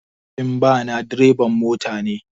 Mahaifin ɗa na dreban mota ne.